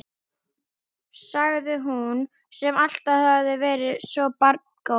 sagði hún, sem alltaf hafði verið svo barngóð.